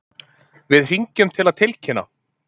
Við hringjum til að tilkynna.